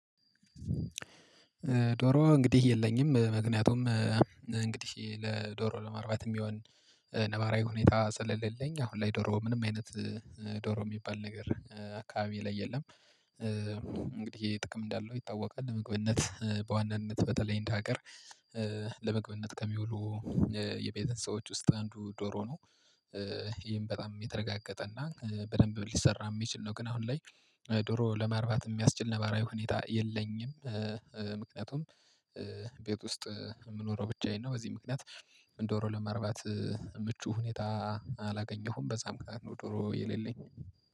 ዶሮ እንግዲህ የለኝም ምክንያቱም እንግዲህ ለዶሮ ለማርባት የሚሆን ነባራዊ ሁኔታ ስለሌለኝ አሁን ላይ ዶሮ ምንም አይነት ዶሮ የሚባል ነገር አካባቢየ ላይ የለም። እንግዲህ ይሄ ጥቅም እንዳለው ይታወቃል ለምግብነት በዋናነት በተለይ እንደ ሀገር ለምግብነት ከሚውሉ የቤተ እንስሶች ውስጥ አንዱ ዶሮ ነው። ይህም በጣም የተረጋገጠ እና በደንብ ሊሰራ የሚችል ነው ግን አሁን ላይ ዶሮ ለማርባት የሚያስችል ነባራዊ ሁኔታ የለኝም። ምክንያቱም ቤት ውስጥ የምኖረው ብቻዬን ነው። በዚህ ምክንያት ዶሮ ለማርባት ምቹ ሁኔታ አላገኘሁም በዛም ምክንያት ነው ዶሮ የሌለኝ